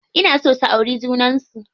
Ina so su auri junan su.